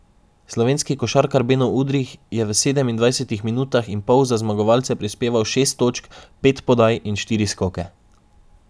Slovenski košarkar Beno Udrih je v sedemindvajsetih minutah in pol za zmagovalce prispeval šest točk, pet podaj in štiri skoke.